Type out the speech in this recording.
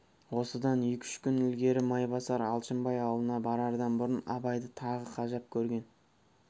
осыдан екі-үш күн ілгері майбасар алшынбай аулына барардан бұрын абайды тағы қажап көрген